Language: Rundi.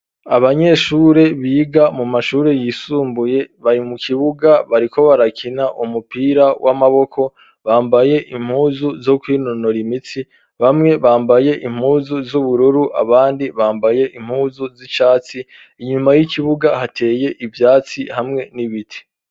Abanyeshure biga mu mashuri yisumbuye bari mu kibuga bariko barakina umupira w'amaboko, bambaye impuzu zo kwinonora imitsi ,bamwe bambaye impuzu z'ubururu ,abandi bambaye impuzu z'icatsi ,inyuma y'ikibuga hateye ivyatsi hamwe n'ibiti.